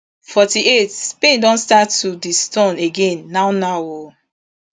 forty-eight spain don start to disturn again now now o